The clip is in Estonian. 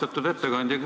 Austatud ettekandja!